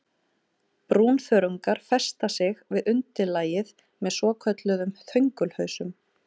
Brúnþörungar festa sig við undirlagið með svokölluðum þöngulhausum.